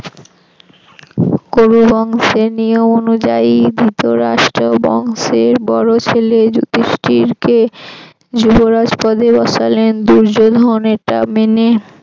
কুরু বংশের নিয়ম অনুযায়ি ধৃতরাষ্ট্র বংশের বড় ছেলে যুধিষ্ঠির কে যুবরাজ পদে বসালেন দুর্যোধন এটা মেনে